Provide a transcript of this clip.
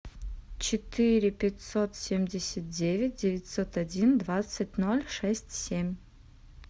четыре пятьсот семьдесят девять девятьсот один двадцать ноль шесть семь